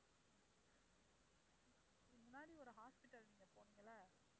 முன்னாடி ஒரு hospital நீங்கப் போனீங்கல்ல